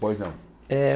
Pois não. Eh